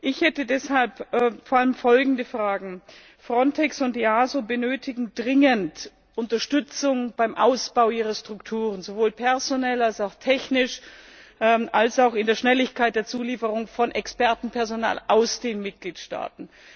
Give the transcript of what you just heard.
Ich hätte deshalb vor allem folgende Fragen Frontex und EASO benötigen dringend Unterstützung beim Ausbau ihrer Strukturen, sowohl personell als auch technisch als auch in der Schnelligkeit der Zulieferung von Expertenpersonal aus den Mitgliedstaaten.